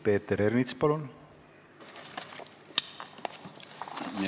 Peeter Ernits, palun!